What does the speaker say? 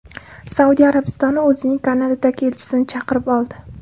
Saudiya Arabistoni o‘zining Kanadadagi elchisini chaqirib oldi.